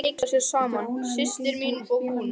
Þær eru að leika sér saman, systir mín og hún.